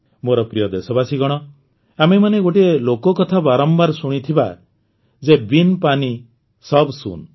ମୋର ପ୍ରିୟ ଦେଶବାସୀଗଣ ଆମେମାନେ ଗୋଟିଏ ଲୋକକଥା ବାରମ୍ବାର ଶୁଣିଥିବା ଯେ ବିନ୍ ପାନୀ ସବ୍ ଶୁନ୍